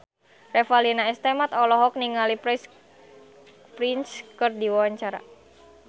Revalina S. Temat olohok ningali Prince keur diwawancara